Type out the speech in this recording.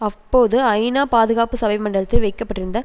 அப்போது ஐநா பாதுகாப்பு சபை மண்டபத்தில் வைக்க பட்டிருந்த